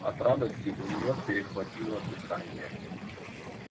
от радости у нее перехватило дыхание